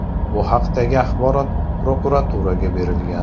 Bu haqdagi axborot prokuraturaga berilgan.